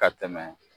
Ka tɛmɛ